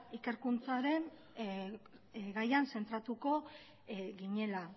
ikerkuntzaren gaian zentratuko ginela